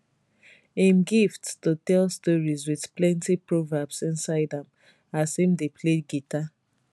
im gift to tell stories wit plenty proverbs inside as im dey play guitar